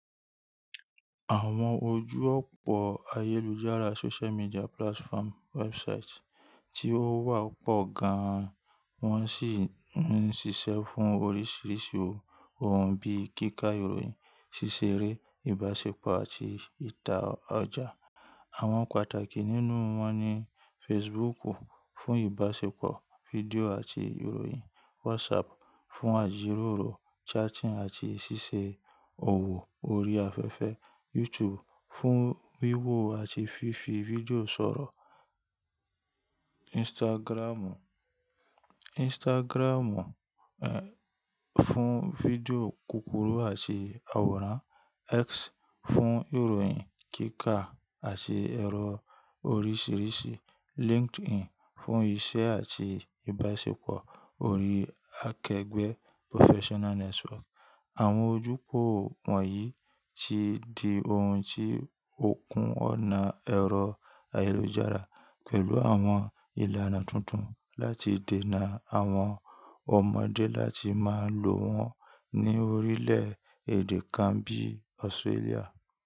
Àwọn ojú ọ̀pọ̀ ayélujára social media platform websites tí ó wà pọ̀ gan, wọ́n sì ń ṣiṣẹ́ fún oríṣiríṣi ohun bí i kíkà ìròyìn, ṣíṣeré, ìbáṣepọ̀ àti ìta ọjà. Àwọn pàtàkì nínú wọn ni Facebook fún ìbáṣepọ̀ fídíò àti ìròyìn, WhatsApp fún àjíròrò, chatting àti ṣíṣe òwò ori afẹ́fẹ́, YouTube fún wíwo àti fífi fídíò sọ̀rọ̀, Instagram fún fídíò kúkúrú àti àwòrán, X fún ìròyìn kíkà àti ẹ̀rọ oríṣiríṣi, LinkedIn fún iṣẹ́ àti ìbáṣepọ̀ ori akẹgbẹ́ professional network. Àwọn ojú pọ̀ wọ̀nyí ti di ohun tí ó kún ọ̀nà ẹ̀rọ ayélujára pẹ̀lú àwọn ìlànà tuntun láti dènà àwọn ọmọdé láti máa lò wọ́n ní orílẹ̀ èdè kan bí Australia.